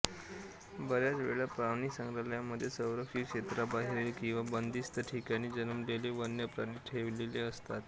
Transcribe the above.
बऱ्याच वेळा प्राणिसंग्रहालयामध्ये संरक्षित क्षेत्राबाहेरील किंवा बंदिस्त ठिकाणी जन्मलेले वन्य प्राणी ठेअव्लेले असतात